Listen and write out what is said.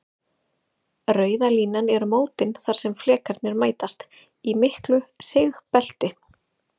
Rauða línan eru mótin þar sem flekarnir mætast, í miklu sigbelti.